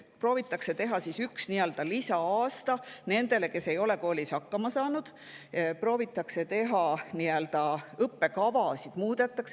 Proovitakse teha üks lisa-aasta nendele, kes ei ole koolis hakkama saanud, muudetakse õppekavasid.